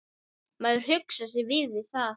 Maður huggar sig við það.